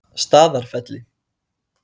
Staðarfelli